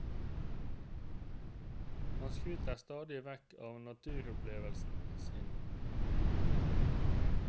Han skryter stadig vekk av naturopplevelsene sine.